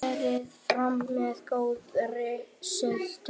Berið fram með góðri sultu.